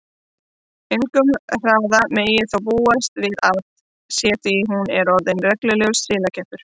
Engum hraða megi þó búast við af sér því hún sé orðin reglulegur silakeppur.